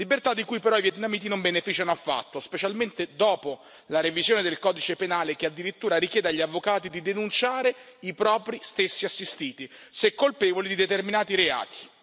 Libertà di cui però i vietnamiti non beneficiano affatto, specialmente dopo la revisione del codice penale, che addirittura richiede agli avvocati di denunciare i propri stessi assistiti, se colpevoli di determinati reati.